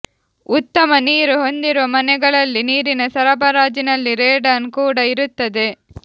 ಉತ್ತಮ ನೀರು ಹೊಂದಿರುವ ಮನೆಗಳಲ್ಲಿ ನೀರಿನ ಸರಬರಾಜಿನಲ್ಲಿ ರೇಡಾನ್ ಕೂಡ ಇರುತ್ತದೆ